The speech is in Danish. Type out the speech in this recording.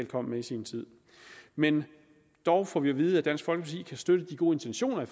kom med i sin tid men dog får vi at vide at dansk folkeparti kan støtte de gode intentioner